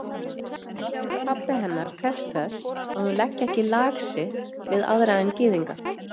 Pabbi hennar krefst þess, að hún leggi ekki lag sitt við aðra en gyðinga.